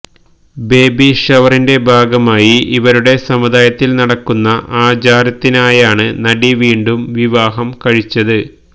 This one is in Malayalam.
ബേബി ഷവറിന്റെ ഭാഗമായി ഇവരുടെ സമുദായത്തിൽ നടക്കുന്ന ആചാരത്തിനായാണ് നടി വീണ്ടും വിവാഹം കഴിച്ചത്